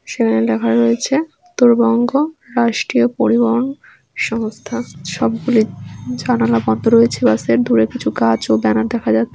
সেখানে লেখা রয়েছে উত্তর বঙ্গ রাষ্ট্রীয় পরিবহন সংস্থা সবগুলোই জানালা বন্ধ রয়েছে বাসের দূরে কিছু কাজ ও ব্যানার দেখা যাচ্ছে।